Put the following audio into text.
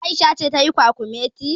Aisha ce tayi kwakumetin.